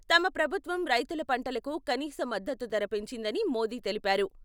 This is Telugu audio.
తమ ప్రభుత్వం రైతుల పంటలకు కనీస మద్దతు ధర పెంచిందని మోదీ తెలిపారు.